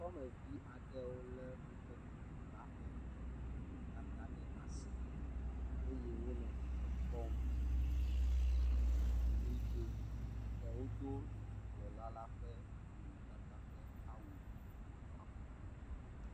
Dukɔmevi aɖewo le woƒe nɔnɔmetata ɖe asi eye wole dzidzɔ kpɔm nɔ ʋli dom eɖewo do dukplɔla la ƒe nɔnɔmetata ƒe awu